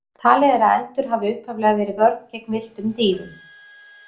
Talið er að eldur hafi upphaflega verið vörn gegn villtum dýrum.